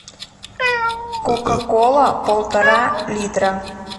кока кола полтора литра